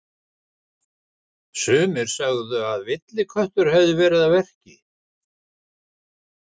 Sumir sögðu að villiköttur hefði verið að verki.